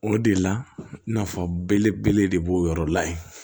O de la nafa belebele de b'o yɔrɔ la yen